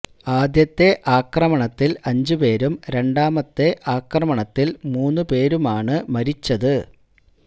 ആദ്യത്തെ ആക്രമണത്തില് അഞ്ച് പേരും രണ്ടാമത്തെ ആക്രമണത്തില് മൂന്ന് പേരുമാണ് മരിച്ചത്